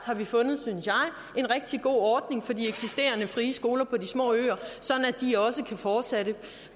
fundet synes jeg en rigtig god ordning for de eksisterende frie skoler på de små øer sådan at de også kan fortsætte